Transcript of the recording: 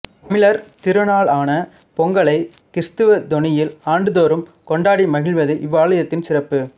தமிழர் திருநாளான பொங்கலை கிறித்தவ தொனியில் ஆண்டுதோறும் கொண்டாடி மகிழ்வது இவ்வாலயத்தின் சிறப்பு